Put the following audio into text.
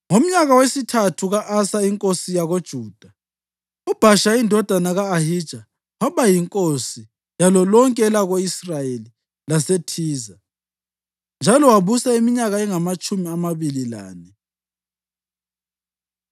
Ngomnyaka wesithathu ka-Asa inkosi yakoJuda, uBhasha indodana ka-Ahija waba yinkosi yalo lonke elako-Israyeli laseThiza, njalo wabusa iminyaka engamatshumi amabili lane.